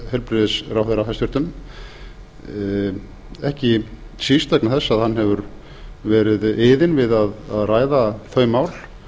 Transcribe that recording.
hæstvirtur heilbrigðisráðherra ekki síst vegna þess að hann hefur verið iðinn við að ræða þau mál